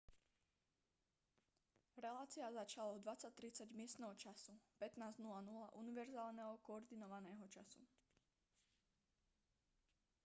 relácia začala o 20:30 miestneho času 15:00 univerzálneho koordinovaného času